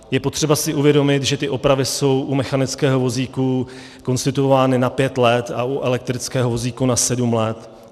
Je potřeba si uvědomit, že tyto opravy jsou u mechanického vozíku konstituovány na pět let a u elektrického vozíku na sedm let.